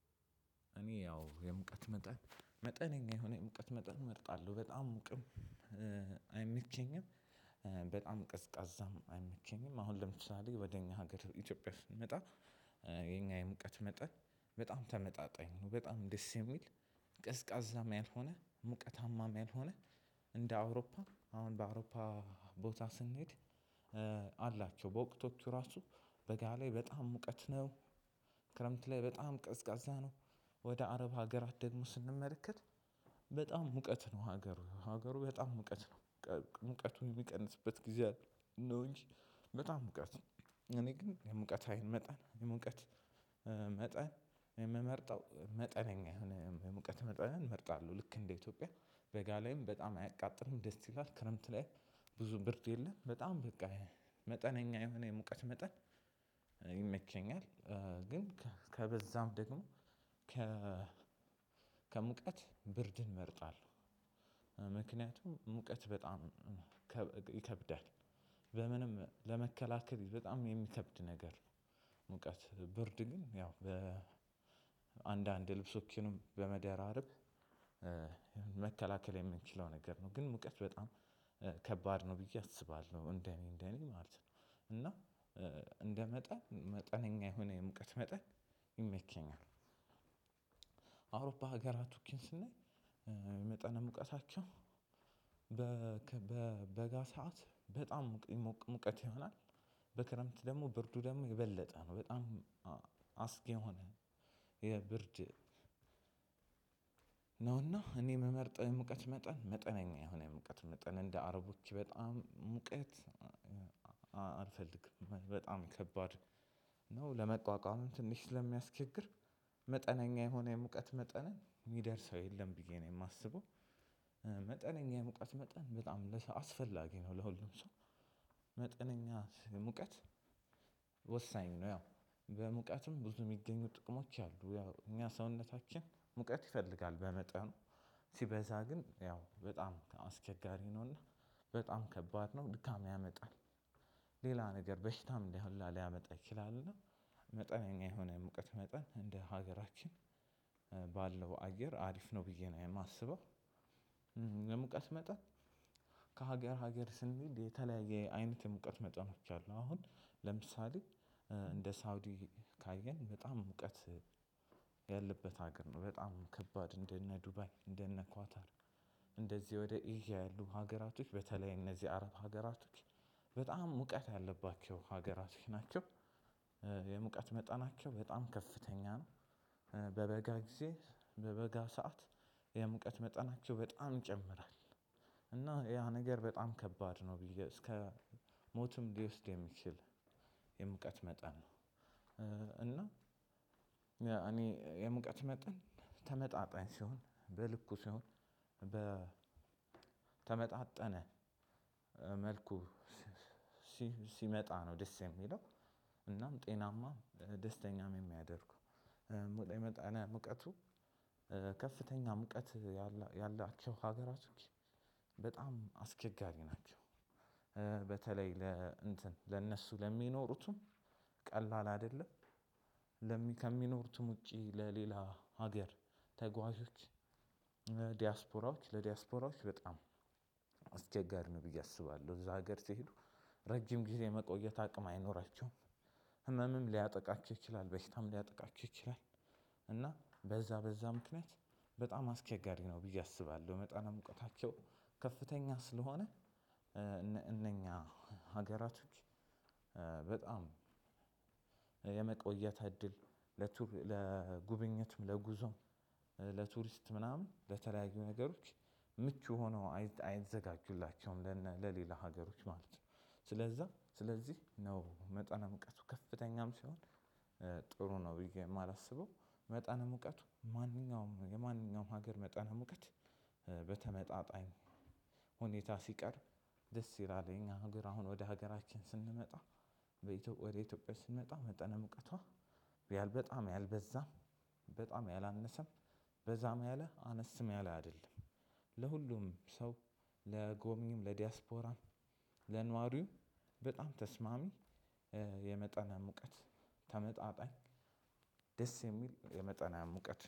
እኔ ያው የሙቀት መጠን መጠነኛ የሆነ የሙቀት መጠን እመርጣለሁ በጣም ሙቅም አይመቸኝም። በጣም ቅዝቃዛም አይመቸኝም አሁን ለምሳሌ ወደ እኛ ሀገር ኢትዮጵያ ስንመጣ። የሙቀት መጠን በጣም ተመጣጣኝ ነው በጣም ደስ የሚል። ቀዝቃዛም ያልሆነ ሙቀታማም ያልሆነ እንደ አውሮፓ አሁን በአውሮፓ ቦታ ስንሄድ። አላቸው በወቅቶቹ ራሱ በጋ ላይ በጣም ሙቀት ነው። ክረምት ላይ በጣም ቀዝቃዛ ነው። ወደ አረብ ሀገራት ደግሞ ስንመለከት። በጣም ሙቀት ነው ሀገሩ ሀገሩ በጣም ሙቀት ነው። ሙቀቱን የሚቀንስበት ጊዜ አለ ነው እንጂ በጣም ሙቀት ነው። እኔ ግን የሙቀት ሀይል መጠን የሙቀት መጠን የምመርጠው መጠነኛ የሆነ የሙቀት መጠን እመርጣለሁ። ልክ እንደ ኢትዮጵያ በጋ ላይም በጣም አያቃጥርም ደስ ይላል ክረምት ላይ ብዙ ብርዶ የለም በጣም በቃ መጠነኛ የሆነ የሙቀት መጠን ይመቸኛል። ግን ከበዛም ደግሞ ከሙቀት ብርድ እመርጣለሁ። ምክንያቱም ሙቀት በጣም ይከብዳል በምንም ለመከላከል በጣም የሚከብድ ነገር ነው። ሙቀት ብርድ ግን ያው በአንዳንድ ልብሶችንም በመደራረብ መከላከል የምንችለው ነገር ነው። ግን ሙቀት በጣም ከባድ ነው ብዬ አስባለሁ እንደኔ እንደኔ ማለት ነው። እና እንደ መጠን መጠነኛ የሆነ የሙቀት መጠን ይመቸኛል። ሀገራቶችን ስናይ መጠነ ሙቀታቸው በ በ በጋ ሰዓት በጣም ይሞቀ ሙቀት ይሆናል። በክረምት ደግሞ ብርዱ ደግሞ የበለጠ ነው በጣም አስጊ የሆነ የብርድ ነውና እኔ የምመርጥ የሙቀት መጠን መጠነኛ የሆነ የሙቀት መጠን እንደ አረቦች በጣም ሙቀት። አልፈልግም በጣም ከባድ ነው ለመቋቋምም ትንሽ ስለሚያስቸግር መጠነኛ የሆነ የሙቀት መጠንን የሚደርሰው የለም ብዬ ነው የማስበው። መጠነኛ የመቀት መጠን በጣም ለሰው አስፈላጊ ነው ለሁሉም ሰው መጠነኛ ሙቀት ወሳኝ ነው። ያው በሙቀትም ብዙ የሚገኙ ጥቅሞች አሉ ያው እኛ ሰውነታችን ሙቀት ይፈልጋል በመጠኑ ሲበዛ ግን ያው በጣም አስቸጋሪ ነውና በጣም ከባድ ነው ድካም ያመጣል። ሌላ ነገር በሽታም እንደ ሁላ ሊያመጣ ይችላልና። መጠነኛ የሆነ የሙቀት መጠን እንደ ሀገራችን ባለው አየር አሪፍ ነው ብዬ ነው የማስበው። የሙቀት መጠን ከሀገር ሀገር ስንሄድ የተለያየ አይነት የሙቀት መጠኖች አሉ አሁን ለምሳሌ እንደ ሳውዲ ካየን በጣም ሙቀት ያለበት ሀገር ነው። በጣም ከባድ እንደነ ዱባይ እንደነ ኳታር እንደዚህ ወደ ኤዥያ ያሉ ሀገራቶች በተለይ እነዚህ አረብ ሀገራቶች በጣም ሙቀት ያለባቸው ሀገራቶች ናቸው። የሙቀት መጠናቸው በጣም ከፍተኛ ነው። በበጋ ጊዜ በበጋ ሰዓት የሙቀት መጠናቸው በጣም ይጨምራል እና ያ ነገር በጣም ከባድ ነው ብዬ እስከ ሞትም ሊወስድ የሚችል የሙቀት መጠን ነው። እና እኔ የሙቀት መጠን ተመጣጣኝ ሲሆን በልኩ ሲሆን በ በተመጣጠነ መልኩ ሲመጣ ነው ደስ የሚለው። እናም ጤናማ ደስተኛም የሚያደርገው መጠነ ሙቀቱ ከፍተኛ ሙቀት ያላቸው ሀገራቶች በጣም አስቸጋሪ ናቸው። በተለይ ለእንትን ለእነሱ ለሚኖሩትም ቀላል አይደለም። ከሚኖሩትም ውጪ ለሌላ ሀገር ተጓዦች ዲያስፖራዎች ለዲያስፖራዎች በጣም አስቸጋሪ ነው ብዬ አስባለሁ እዛ ሀገር ሲሄዱ ረጅም ጊዜ የመቆየት አቅም አይኖራቸውም። ህመምም ሊያጠቃችሁ ይችላል በሽታም ሊያጠቃችሁ ይችላል። እና በዛ በዛ ምክንያት በጣም አስቸጋሪ ነው ብዬ አስባለሁ። መጠነ ሙቀታቸው ከፍተኛ ስለሆነ እነኛ ሀገራቶች በጣም የመቆየት እድል ለቱር ለጉብኝትም ለጉዞም ለቱሪስት ምናምን ለተለያዩ ነገሮች ምቹ ሆነው አይዘጋጁላቸውም ለሌላ ሀገሮች ማለት ነው። ስለዛ ስለዚህ ነው መጠነ ሙቀቱ ከፍተኛም ሲሆን ጥሩ ነው ብዬ የማላስበው። መጠነ ሙቀቱ ማንኛውም የማንኛውም ሀገር መጠን ሙቀት በተመጣጣኝ ሁኔታ ሲቀር ደስ ይላል። እኛ ሀገር አሁን ወደ ሀገራችን ስንመጣ ወደ ኢትዮጵያ ስንመጣ መጠነ ሙቀቷ ሪያል በጣም ያልበዛም በጣም ያላነሰም በዛም ያለ አነስም ያለ አይደለም። ለሁሉም ሰው ለጎብኚም ለዲያስፖራም ለነዋሪውም በጣም ተስማሚ የመጠነ ሙቀት ተመጣጣኝ። ደስ የሚል የመጠነ ሙቀት